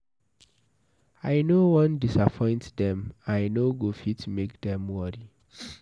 I no wan disappoint dem, I no go fit make dem worry.